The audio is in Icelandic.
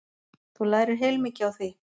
Þú lærir heilmikið á því.